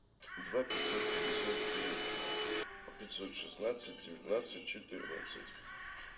два пятьсот пятьдесят три пятьсот шестнадцать девятнадцать четырнадцать